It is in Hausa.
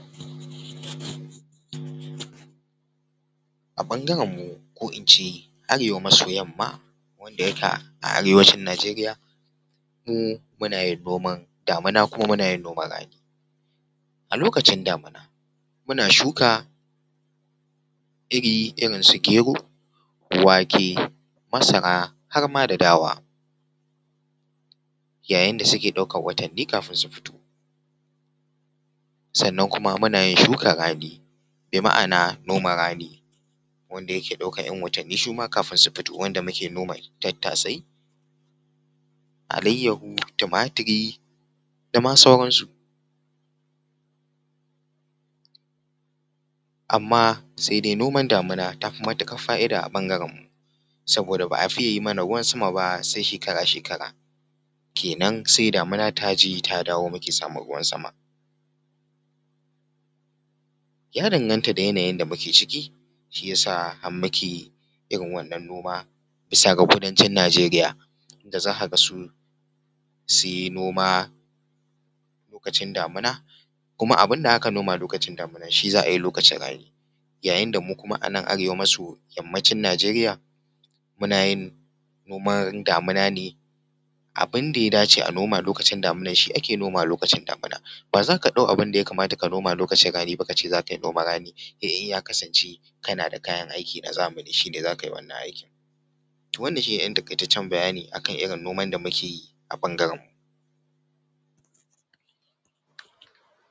A bangaren mu ko in ce arewa maso yamma wanda yaka arewacin Nijeriya, mu muna yin nomar damuna kuma muna yin noman rani. A lokacin damuna muna shuka iri irin su gero, wake, masara har ma da dawa, yayin da suke ɗaukar watanni kafin su fito. Sannan kuma muna yin shukar rani, bi ma’ana noman rani wanda yake ɗaukar ‘yan watanni su ma kafin su fito wanda muke noma tattasa, alayyaho, tumaturi da ma sauran su. Amma sai dai noman damuna ta fi matuƙar fa’ida a ɓangaren mu saboda ba a fiye yi mana ruwan sama ba sai shekara-shekara kenan sai damuna ta je ta dawo muke samu ruwan sama. Ya danganta da yanayin da muke ciki shi ya sa har muke irin wannan noma bisa ga kudancin Nijeriya da zaka ga su sun yi noma lokacin damuna kuma abin da aka noma lokacin damuna shi za’a yi lokacin rani, yayin da mu kuma a nan arewa maso yammacin Nijeriya muna yin noman damuna ne abin da ya dace a noma lokacin damunar shi ake nomawa lokacin damuna, ba za ka ɗau abin da ya kamata ka noma lokacin rani ba ka ce za ka yi noman rani, sai in ya kasance kana da kayan aiki na zamani shi ne zaka yi wannan aikin. Toh wannan shi ne dan taƙaitaccen bayani akan irin noman da muke yi a ɓangaren mu.